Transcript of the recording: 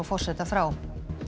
forseta frá